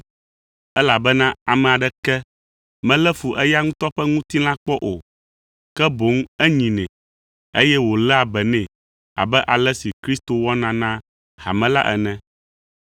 Elabena ame aɖeke melé fu eya ŋutɔ ƒe ŋutilã kpɔ o, ke boŋ enyinɛ, eye wòléa be nɛ abe ale si Kristo wɔna na hame la ene,